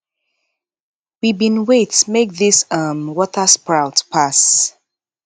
we bin wait make dis um watersprout pass